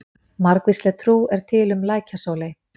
Margvísleg trú er til um lækjasóley.